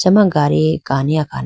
acha ma gadi kani akhane.